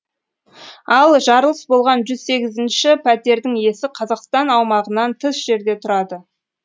ал жарылыс болған жүз сегізінші пәтердің иесі қазақстан аумағынан тыс жерде тұрады